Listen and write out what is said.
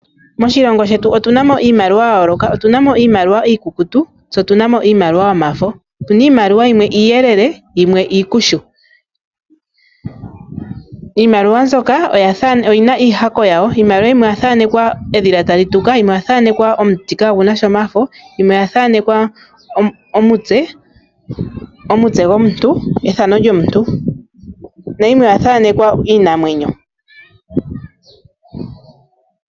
Moshilongo shetu otuna mo iimaliwa ya yooloka. Otuna mo iimaliwa iikukutu tse otuna mo iimaliwa yomafo. Iimaliwa yimwe iiyelele yimwe iikushu. Iimaliwa oyina iihako yawo noyathaanekwa edhila tali tuka yimwe oya thaanekwa onuti kaagunasha omafo, yimwe omutse gwomuntu nayimwe iinamwenyo.